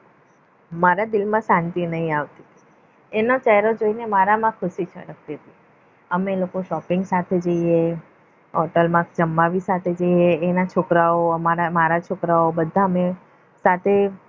મારા દિલમાં શાંતિ નહીં આવતી એનો ચહેરો જોઈને મારામાં ખુશી છલકતી હતી અમે લોકો shopping સાથે જઈએ હોટલમાં જમવા સાથે જઈએ એના છોકરાઓ મારા છોકરા ઓબધા અમે સાથે